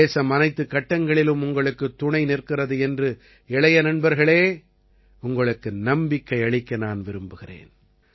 தேசம் அனைத்துக் கட்டங்களிலும் உங்களுக்குத் துணை நிற்கிறது என்று இளைய நண்பர்களே உங்களுக்கு நம்பிக்கை அளிக்க நான் விரும்புகிறேன்